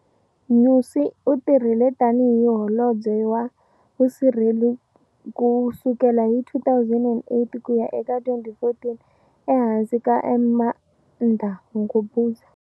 Nyusi u tirhile tani hi Holobye wa Vusirheleri ku sukela hi 2008 ku ya eka 2014 ehansi ka Armando Guebuza.